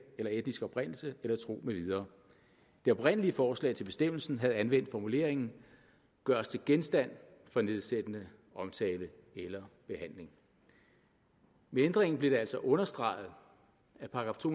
eller etnisk oprindelse eller tro med videre det oprindelige forslag til bestemmelsen havde anvendt formuleringen gøres til genstand for nedsættende omtale eller behandling med ændringen blev det altså understreget at § to